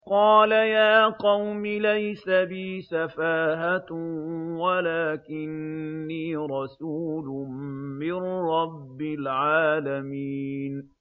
قَالَ يَا قَوْمِ لَيْسَ بِي سَفَاهَةٌ وَلَٰكِنِّي رَسُولٌ مِّن رَّبِّ الْعَالَمِينَ